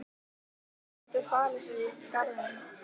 Hann gæti falið sig í garðinum.